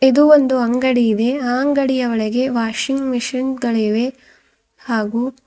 ಇದು ಒಂದು ಅಂಗಡಿ ಇದೆ ಆ ಅಂಗಡಿಯ ಒಳಗೆ ವಾಷಿಂಗ್ ಮೆಷಿನ್ ಗಳಿವೆ ಹಾಗೂ--